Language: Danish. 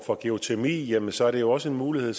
for geotermi jamen så er det jo også en mulighed